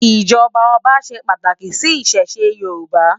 ijọba ọba ṣé pàtáki si Ìṣẹ̀ṣe Yoruba